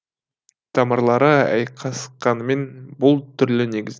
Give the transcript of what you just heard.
тамырлары айқасқанымен бұл түрлі негіз